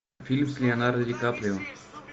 фильм с леонардо ди каприо